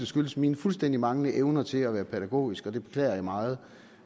skyldes mine fuldstændig manglende evner til at være pædagogisk og det beklager jeg meget